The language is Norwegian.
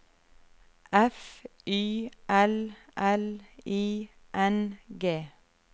F Y L L I N G